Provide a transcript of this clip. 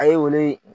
A ye olu